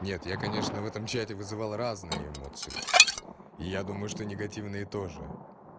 нет я конечно в этом чате вызывал разные эмоции и я думаю что негативные тоже